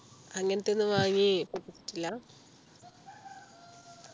അങ്ങനെത്തെയൊന്നും വാങ്ങി യിട്ടില്ല